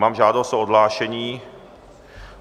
Mám žádost o odhlášení.